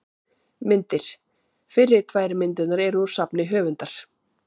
Myndir: Fyrri tvær myndirnar eru úr safni höfundar.